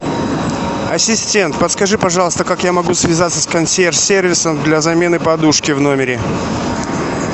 ассистент подскажи пожалуйста как я могу связаться с консьерж сервисом для замены подушки в номере